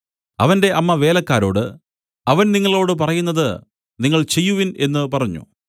അവന്റെ അമ്മ വേലക്കാരോട് അവൻ നിങ്ങളോടു പറയുന്നത് നിങ്ങൾ ചെയ്യുവിൻ എന്നു പറഞ്ഞു